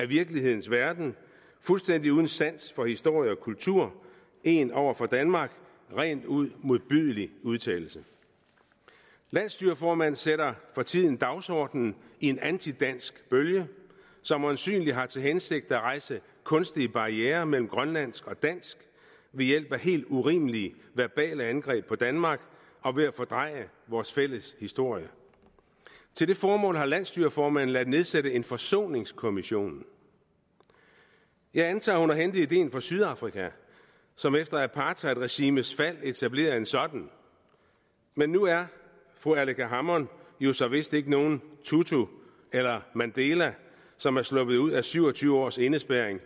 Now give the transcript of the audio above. virkelighedens verden fuldstændig uden sans for historie og kultur en over for danmark rent ud modbydelig udtalelse landsstyreformanden sætter for tiden dagsordenen i en antidansk bølge som øjensynlig har til hensigt at rejse kunstige barrierer mellem grønlandsk og dansk ved hjælp af helt urimelige verbale angreb på danmark og ved at fordreje vores fælles historie til det formål har landsstyreformanden ladet nedsætte en forsoningskommission jeg antager at hun har hentet ideen fra sydafrika som efter apartheidregimets fald etablerede en sådan men nu er fru aleqa hammond jo så vist ikke nogen tutu eller mandela som er sluppet ud af syv og tyve års indespærring